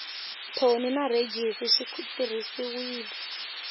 thoni na rhejisi swi tirhisiwile